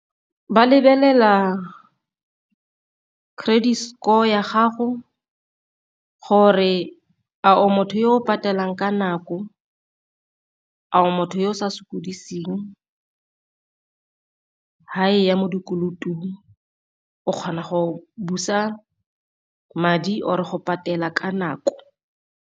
Ba lebelela credit score ya gago gore a o motho yo o patelang ka nako, a o motho yo o sa sokodiseng fa e ya mo dikolotong. O kgona go busa madi or-e go patela ka nako.